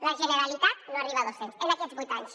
la generalitat no arriba a dos cents en aquests vuit anys